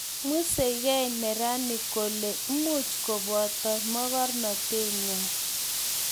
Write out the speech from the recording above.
museigei neranik kole much kubotio mokornateng'wang'